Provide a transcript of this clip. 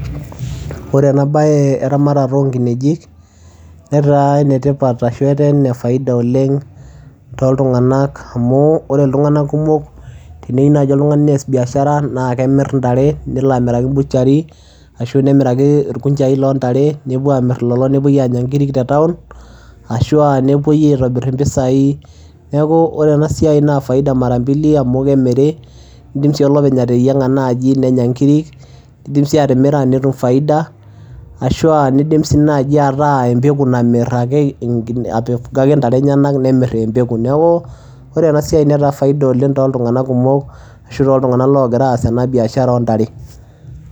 Ore enabaye eramatata onkineji neta enetipat ashu etaa enefaida oleng toltunganak amu ore iltung'anak kumok teneyiu nai oltungani neas biashara naakemirr ntare neloamiraki  butchery ashu nemiraki ilkunjai loontare nepuo amirr lelo nepuoi aanya nkiri te taun ashuu [aa] nepuoi aitobirr impisai neaku ore enasiai naa faida mara mbili amu kemiri neidim sii olopeny ateyieng'a naji nenya nkiri neidim sii atimira netum [cs[faida ashuu [aa] neidim sii naji ataa embeku namirr ake aifuga ake ntare enyenak nemirr eembeku neakuu ore ena siai netaa faida oleng' toltunganak kumok ashu toltunganak logira aas ena biashara oontare.